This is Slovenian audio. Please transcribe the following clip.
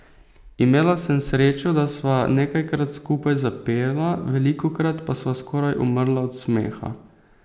Imela sem srečo, da sva nekajkrat skupaj zapela, velikokrat pa sva skoraj umrla od smeha.